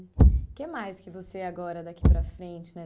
O que mais que você agora, daqui para frente, né?